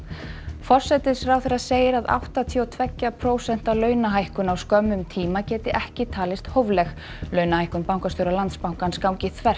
forsætisráðherra segir að áttatíu og tveggja prósenta launahækkun á skömmum tíma geti ekki talist hófleg launahækkun bankastjóra Landsbankans gangi þvert